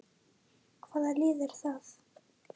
Hvaða lið er það?